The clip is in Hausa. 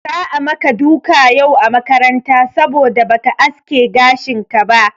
Za'a maka duka yau a makaranta saboda ba ka aske gashinka ba.